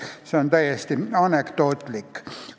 See on täiesti anekdootlik.